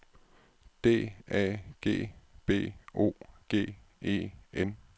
D A G B O G E N